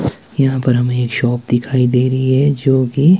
यहाँ पर हमें एक शॉप दिखाई दे रहीं हैं जो की--